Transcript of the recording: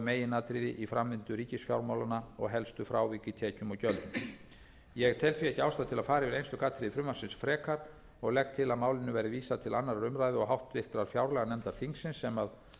meginatriði í framvindu ríkisfjármálanna og helstu frávik í tekjum og gjöldum ég tel því ekki ástæðu til að fara yfir einstök atriði frumvarpsins og legg til að málinu verði vísað til annarrar umræðu og háttvirtrar fjárlaganefndar þingsins sem